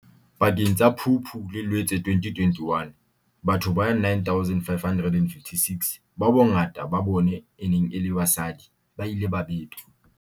Pakeng tsa Phupu le Loetse 2021, batho ba 9 556, bao bongata ba bona e neng e le basadi, ba ile ba betwa.